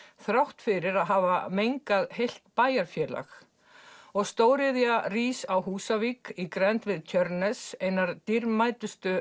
þrátt fyrir að hafa mengað heilt bæjarfélag og stóriðja rís á Húsavík í grennd við Tjörnes einar dýrmætustu